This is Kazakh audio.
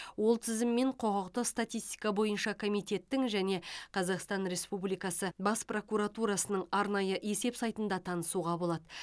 ол тізіммен құқықтық статистика бойынша комитеттің және қазақстан республикасы бас прокуратурасының арнайы есеп сайтында танысуға болады